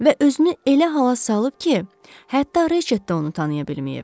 Və özünü elə hala salıb ki, hətta Reçet də onu tanıya bilməyib.